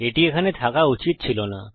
এটি এখানে থাকা উচিত ছিল না